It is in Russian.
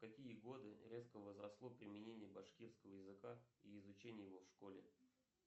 в какие годы резко возросло применение башкирского языка и изучение его в школе